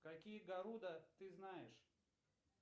какие гаруда ты знаешь